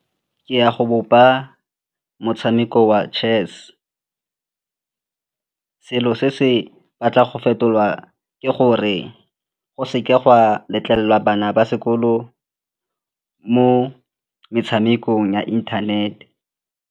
Ke ya go bopa motshameko wa chess. Selo se se batlang go fetolwa ke gore go seka gwa letlelelwa bana ba sekolo mo metshamekong ya internet-e.